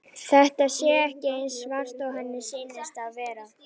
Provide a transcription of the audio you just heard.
Þetta sé ekki eins svart og henni sýnist það vera.